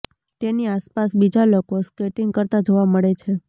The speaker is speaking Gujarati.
તેની આસપાસ બીજા લોકો સ્કેટિંગ કરતા જોવા મળે છે